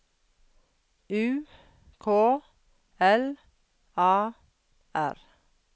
U K L A R